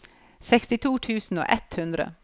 sekstito tusen og ett hundre